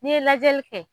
N'i ye lajɛli kɛ